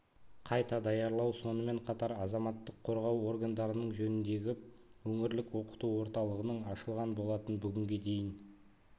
қайта даярлау сонымен қатар азаматтық қорғау органдарының жөніндегі өңірлік оқыту орталығының ашылған болатын бүгінге дейін